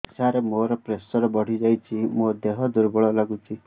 ସାର ମୋର ପ୍ରେସର ବଢ଼ିଯାଇଛି ମୋ ଦିହ ଦୁର୍ବଳ ଲାଗୁଚି